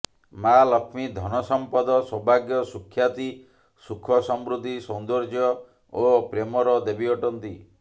ମାଆ ଲକ୍ଷ୍ମୀ ଧନସମ୍ପଦ ସୌଭାଗ୍ୟ ସୁଖ୍ୟାତି ସୁଖସମୃଦ୍ଧି ସୌନ୍ଦର୍ଯ୍ୟ ଓ ପ୍ରେମର ଦେବୀ ଅଟନ୍ତି